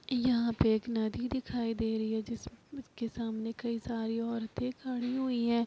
यहाँ पे एक नदी दिखाई दे रही है। जिसके सामने कई सारी औरते खड़ी हुई हैं।